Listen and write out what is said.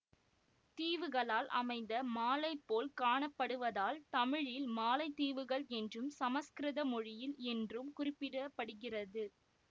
தீவுகளால் அமைந்த மாலைபோல் காணப்படுவதால் தமிழில் மாலைத்தீவுகள் என்றும் சமஸ்கிருத மொழியில் என்றும் குறிப்பிட படுகிறது